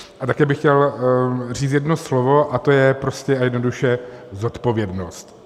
A také bych chtěl říct jedno slovo, a to je prostě a jednoduše zodpovědnost.